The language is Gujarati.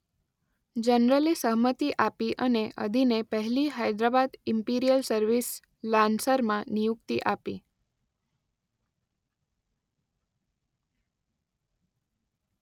જનરલે સહમતી આપી અને અદીને પહેલી હૈદરાબાદ ઈમ્પિરીયલ સર્વિસ લાન્સરમાં નિયુક્તિ આપી.